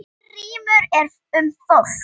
En rýmra er um fólk.